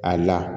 A la